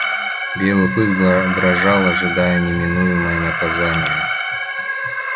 белый клык дрожал ожидая неминуемого наказания